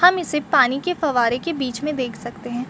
हम इसे पानी के फवारे के बीच में से देख सकते हैं।